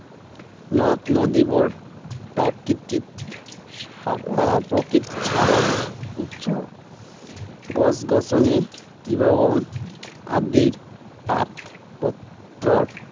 নদ নদীবােৰ, প্ৰাকৃতিক সাৰৰ আহ প্ৰকৃত সাৰৰ উৎস গছ গছনি, তৃণবন আদিৰ পাত পত্ৰৰ